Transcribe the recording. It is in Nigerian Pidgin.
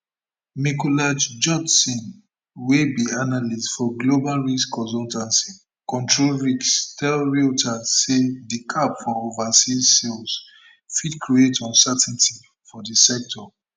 mikolaj judson wey be analyst for global risk consultancy control risks tell reuters say di cap for overseas sales fit create uncertainty for di sector